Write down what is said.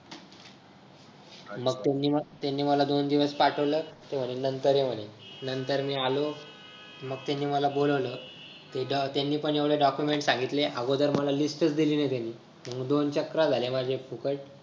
मंग त्यांनी त्यांनी मला दोन दिवस पाठवलं sorry नंतर ये म्हणे नंतर मी आलो मंग त्यांनी मला बोलावलं त्यांनी पण एवढे document सांगितले अगोदर मला त्यांनी list च दिलीली त्यांनी मंग दोन चकरा माझ्या एक फुकट